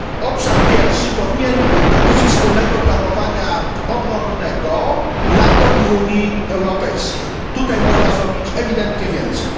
Obszar pierwszy dotyczy wspólnego planowania obronnego NATO i Unii Europejskiej tutaj można zrobić ewidentnie więcej.